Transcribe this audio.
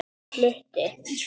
Hann flutti